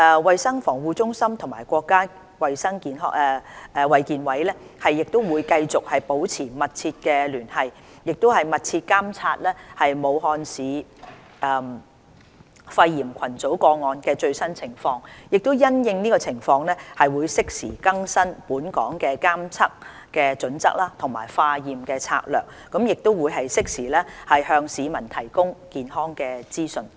衞生防護中心與國家衞健委會繼續保持密切聯繫，密切監察武漢市肺炎群組個案的最新情況，因應情況適時更新本港的監測準則和化驗策略，並適時向市民提供健康資訊。